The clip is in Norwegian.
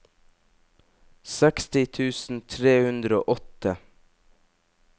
seksti tusen tre hundre og åtte